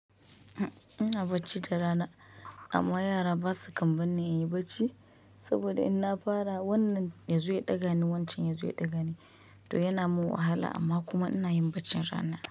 Ina bacci da rana amma yara ba su kan barni in yi bacci saboda in na fara wannan ya zo ya ɗaga ni, wancan ya zo ya ɗaga ni. To yana mun wahala amma kuma ina yin bacci rana.